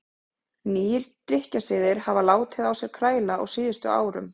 Nýir drykkjusiðir hafa látið á sér kræla á síðustu árum.